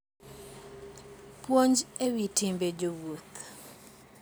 Puonj e Wi Timbe Jowuoth